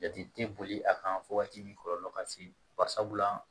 Jate tɛ boli a kan fo wagati min kɔlɔlɔ ka se babu la